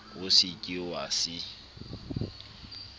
o se ke wa se